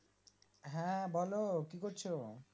হ্যাঁ বলো কি করছো